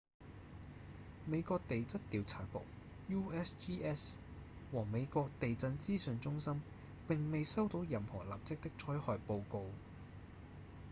美國地質調查局 usgs 和美國地震資訊中心並未收到任何立即的災害報告